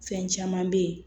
Fɛn caman bɛ yen